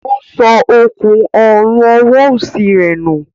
O sọ òkun Ọrùn ọwọ́ osi rẹ nù